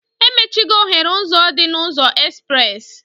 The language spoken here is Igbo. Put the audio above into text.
Emechigo oghere ụzọ dị na ụzọ espres